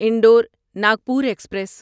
Indore Nagpur express